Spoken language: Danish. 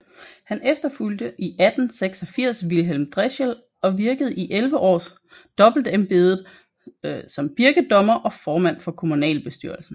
Han efterfulgte i 1886 Vilhelm Drechsel og virkede i 11 år dobbeltembedet som birkedommer og formand for kommunalbestyrelsen